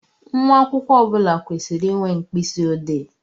Nwa akwụkwọ ọbula kwesịrị ịnwe mkpisi odee